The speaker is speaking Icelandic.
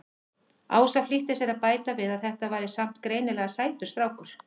Ása flýtti sér að bæta við að þetta væri samt greinilega sætur strákur.